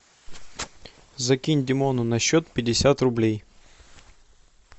закинь димону на счет пятьдесят рублей